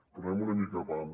però anem una mica a pams